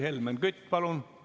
Helmen Kütt, palun!